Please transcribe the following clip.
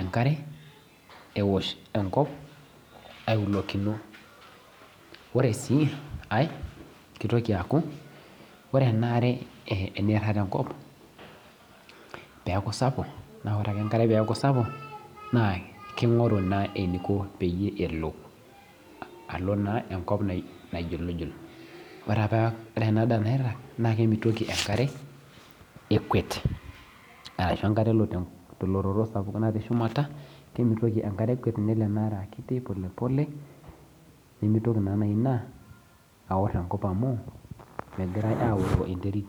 enkare ewosh enkop aiulokino ore sii ae keitoki aaku ore enaare teneirag tenkop tenirag tenkop naa keing'oru eneiko pee elo aloo naa enkop naijulujul ore ena daa nairag naa kemitiki enkare ekwet ashuu enkare elo telototo natii shumata kemitii enkare ekwet nemeitoki naaji ina aor enkop amu megirai aaoroo enterit